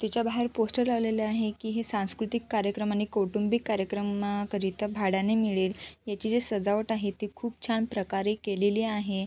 तिच्या बाहेर पोस्टर लावलेले आहे की हे सांस्कृतिक कार्यक्रम आणि कौटुंबिक कार्यक्रमा करीता भाड्याने मिळेल याची जी सजावट आहे ती खूप छान प्रकारे केलेली आहे.